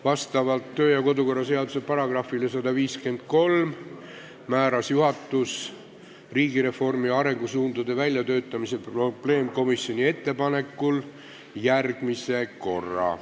Kodu- ja töökorra seaduse § 153 alusel määras juhatus riigireformi arengusuundade väljatöötamise probleemkomisjoni ettepanekul küsimuse arutamiseks järgmise korra.